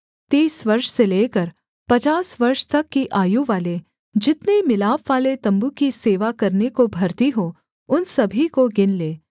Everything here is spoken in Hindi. तीस वर्ष से लेकर पचास वर्ष तक की आयु वाले जितने मिलापवाले तम्बू की सेवा करने को भर्ती हों उन सभी को गिन ले